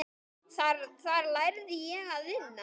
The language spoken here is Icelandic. Þar lærði ég að vinna.